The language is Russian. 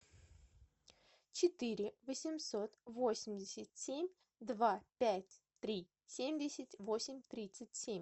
четыре восемьсот восемьдесят семь два пять три семьдесят восемь тридцать семь